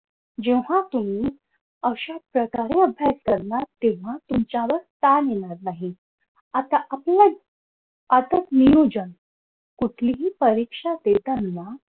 जेव्हा तुम्ही अशा प्रकारे अभ्यास करणार तेव्हा तुमच्यावर ताण येणार नाही आता आपलंच काटक नियोजन कुठलीही परीक्षा देताना